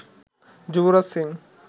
Yuvraj Singh